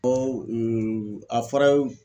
a fɔra